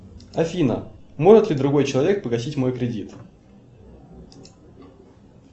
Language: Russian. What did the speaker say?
афина может ли другой человек погасить мой кредит